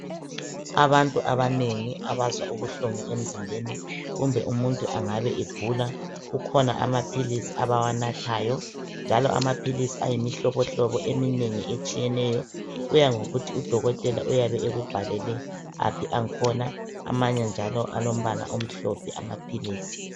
Abantu abanengi abazwa ubuhlungu emzimbeni kumbe umuntu angabe egula kukhona amaphilisi abawanathayo njalo amaphilisi ayimihlobohlobo eminengi etshiyeneyo kuyangokuthi uDokotela uyabe ekubhalele aphi angkhona. Amanye njalo alombala omhlophe amaphilisi.